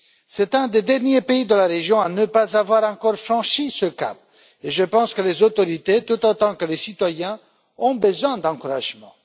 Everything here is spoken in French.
C'est l'un des derniers pays de la région à ne pas avoir encore franchi ce cap et je pense que les autorités tout autant que les citoyens ont besoin d'encouragements.